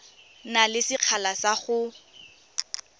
na le sekgala sa go